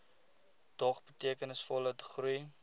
dog betekenisvolle groei